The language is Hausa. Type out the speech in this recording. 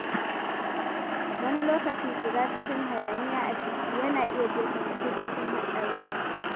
Wani lokaci, shiga cikin hayaniya a titi yana iya jefa mutum cikin haɗari.